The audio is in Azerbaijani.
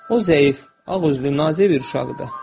O zəif, ağüzlü nazik bir uşaqdı.